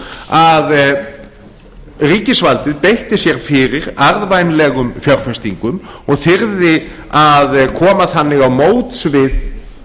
að ríkisvaldið beitti sér fyrir arðvænlegum fjárfestingum og þyrði að koma þannig á móts við